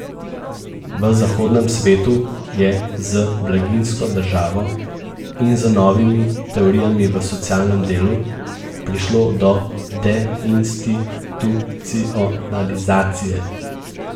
V zahodnem svetu je z blaginjsko državo in z novimi teorijami v socialnem delu prišlo do deinstitucionalizacije.